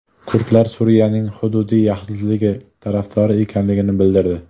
Kurdlar Suriyaning hududiy yaxlitligi tarafdori ekanligini bildirdi.